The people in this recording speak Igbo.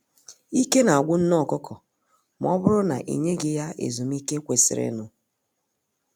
Ike na agwụ nne ọkụkọ ma ọbụrụ na i nyeghị ya ezumiike kwesịrịnụ